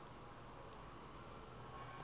inciba